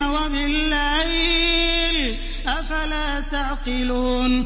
وَبِاللَّيْلِ ۗ أَفَلَا تَعْقِلُونَ